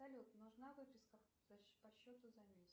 салют нужна выписка по счету за месяц